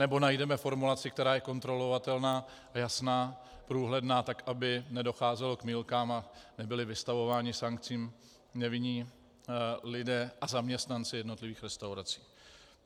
Anebo najdeme formulaci, která je kontrolovatelná, jasná, průhledná, tak aby nedocházelo k mýlkám a nebyli vystavováni sankcím nevinní lidé a zaměstnanci jednotlivých restaurací.